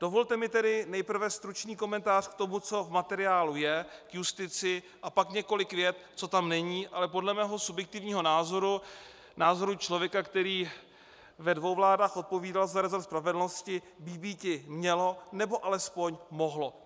Dovolte mi tedy nejprve stručný komentář k tomu, co v materiálu je, k justici, a pak několik vět, co tam není, ale podle mého subjektivního názoru, názoru člověka, který ve dvou vládách odpovídal za resort spravedlnosti, by býti mělo nebo alespoň mohlo.